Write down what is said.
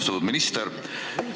Austatud minister!